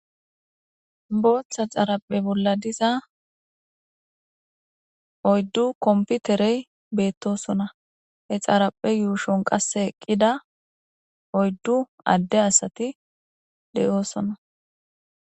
botha xariphe bolla dizza oyidu komptereti betosona he xariphe yushoni eqida oyidu ade assati deyosona